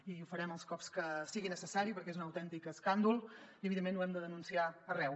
i ho farem els cops que sigui necessari perquè és un autèntic escàndol i evidentment ho hem de denunciar arreu